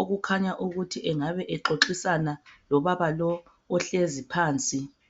okukhanya ukuthi angabe ezoxisana lobaba lo ohlezi phansi.